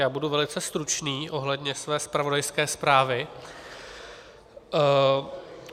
Já budu velice stručný ohledně své zpravodajské zprávy.